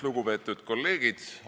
Lugupeetud kolleegid!